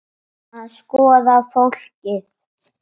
Að skoða fólkið.